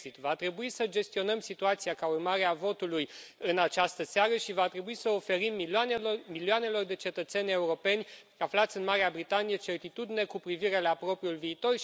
Brexit va trebui să gestionăm situația, ca urmare a votului din această seară și va trebui să oferim milioanelor de cetățeni europeni aflați în Marea Britanie certitudine cu privire la propriul viitor.